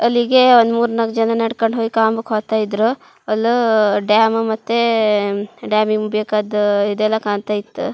ಅಲ್ಲಿಗೇ ಒನ್ ಮೂರ್ ನಾಲಕ್ ಜನ ನಡಕೊಂಡ ಹೋಯ್ಕಾಮುಕ್ ಹೋಯ್ತಾ ಇದ್ರು ಅಲೋ ಡ್ಯಾಮ್ ಮತ್ತೇ ಡ್ಯಾಮಿಗೆ ಬೇಕ್ಕಾದ್ದು ಇದೆಲ್ಲಾ ಕಾನ್ತಾಯಿತ್ತು.